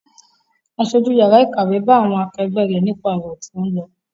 Aṣojú yàrá ìkàwé bá àwọn akẹgbẹ́ rẹ̀ nípa ọ̀rọ̀ tó ń lọ.